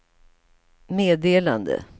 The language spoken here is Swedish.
meddelande